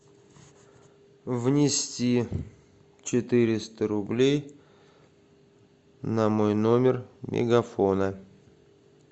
внести четыреста рублей на мой номер мегафона